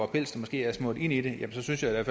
pels måske er smurt ind i den så synes jeg